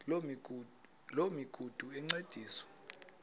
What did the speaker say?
loo migudu encediswa